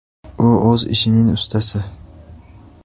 U o‘z ishining ustasi.